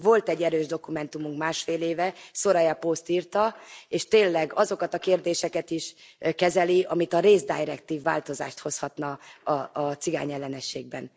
Volt egy erős dokumentumunk másfél éve, Soraya Post írta, és tényleg azokat a kérdéseket is kezeli, amit a race directive, változást hozhatna a cigányellenességben.